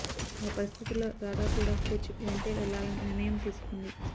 ఆ పరిస్థితుల్లో రాధ కూడా కోచ్ వెంటే వెళ్లాలనే నిర్ణయం తీసుకుంది